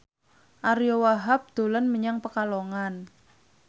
Ariyo Wahab dolan menyang Pekalongan